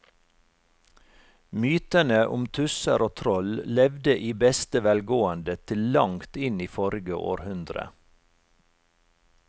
Mytene om tusser og troll levde i beste velgående til langt inn i forrige århundre.